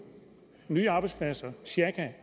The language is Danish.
nye arbejdspladser